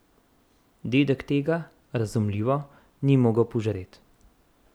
Dedek tega, razumljivo, ni mogel požret.